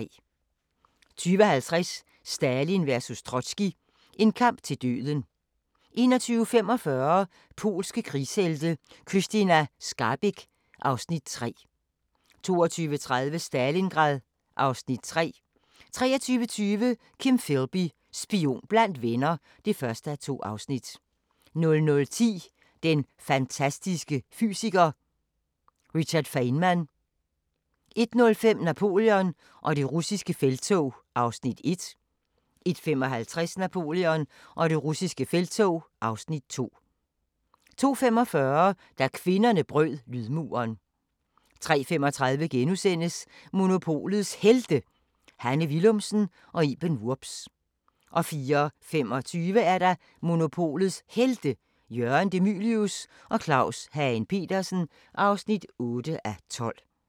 20:50: Stalin vs Trotskij – en kamp til døden 21:45: Polske krigshelte – Krystyna Skarbek (Afs. 3) 22:30: Stalingrad (Afs. 3) 23:20: Kim Philby – spion blandt venner (1:2) 00:10: Den fantastiske fysiker: Richard Feynman 01:05: Napoleon og det russiske felttog (Afs. 1) 01:55: Napoleon og det russiske felttog (Afs. 2) 02:45: Da kvinderne brød lydmuren 03:35: Monopolets Helte – Hanne Willumsen og Iben Wurbs (7:12)* 04:25: Monopolets Helte – Jørgen De Mylius og Claus Hagen Petersen (8:12)